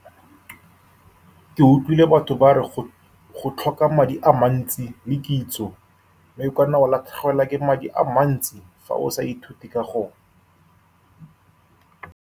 Ke utlwile batho ba re go-go tlhoka madi a mantsi le kitso, mme o ka nna wa latlhegelwa ke madi a mantsi fa o sa ithute ka go.